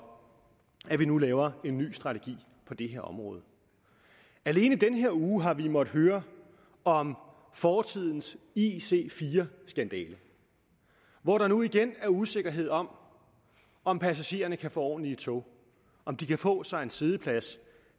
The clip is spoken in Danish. at vi nu laver en ny strategi på det her område alene i den her uge har vi måttet høre om fortidens ic4 skandale hvor der nu igen er usikkerhed om om passagererne kan få ordentlige tog om de kan få sig en siddeplads